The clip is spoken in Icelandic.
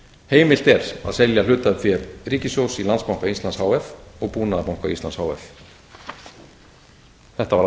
heimilt er að selja hlutafé ríkissjóðs í landsbanka íslands h f og búnaðarbanka íslands h f þetta var allt og